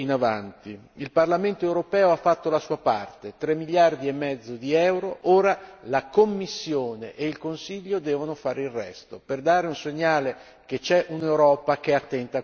Il Parlamento europeo ha fatto la sua parte, tre miliardi e mezzo di euro, ora la Commissione e il Consiglio devono fare il resto, per dare un segnale che c'è un'Europa che è attenta a queste questioni.